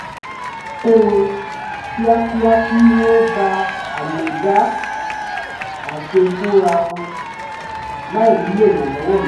kó wọn kíákíá kí wọ́n ba à lè dá a ṣe fúnra wọn láì nílò ìrànlọ́wọ́ mi